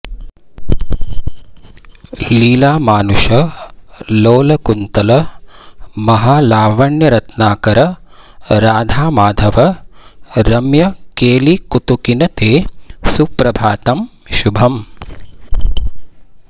लीलामानुष लोलकुन्तल महालावण्यरत्नाकर राधामाधव रम्यकेलिकुतुकिन् ते सुप्रभातं शुभम्